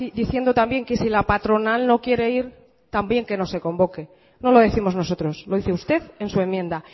diciendo también que si la patronal no quiere ir también que no se convoque no lo décimos nosotros lo dice usted en su enmienda